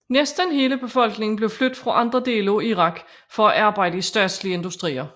Næsten hele befolkningen blev flyttet fra andre dele af Irak for at arbejde i statslige industrier